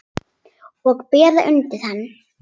Og bera undir hana.